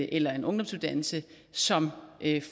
eller en ungdomsuddannelse som